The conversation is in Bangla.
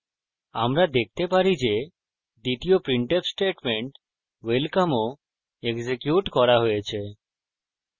আমরা দেখতে পারি যে দ্বিতীয় printf statement welcome ও এক্সিকিউট করা হয়েছে